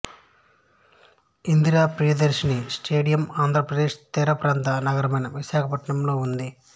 Indira Priyadarshini stadium Andhra Pradesh తీరప్రాంత నగరమైన విశాఖపట్నంలో ఉంది